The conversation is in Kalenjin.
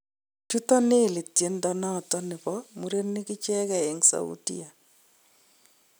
chuto Nelly tiendo noton bo murenik icheken en Saudia